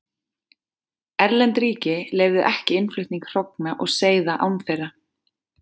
Erlend ríki leyfðu ekki innflutning hrogna og seiða án þeirra.